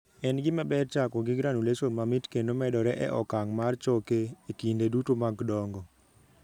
En gima ber chako gi granulation mamit kendo medore e okang' mar choke e kinde duto mag dongo.